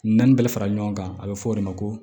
Naani bɛɛ bɛ fara ɲɔgɔn kan a bɛ fɔ o de ma ko